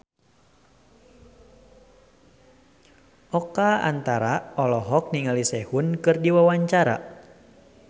Oka Antara olohok ningali Sehun keur diwawancara